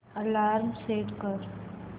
alarm set कर